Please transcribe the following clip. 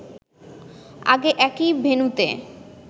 আগে একই ভেন্যুতে